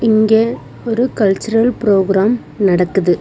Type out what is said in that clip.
இங்க ஒரு cultural programme நடக்குது.